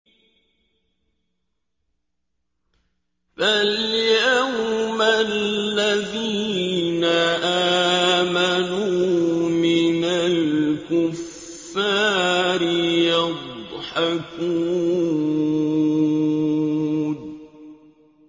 فَالْيَوْمَ الَّذِينَ آمَنُوا مِنَ الْكُفَّارِ يَضْحَكُونَ